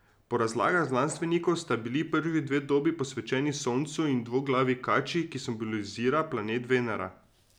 Po razlagah znanstvenikov sta bili prvi dve dobi posvečeni soncu in dvoglavi kači, ki simbolizira planet Venera.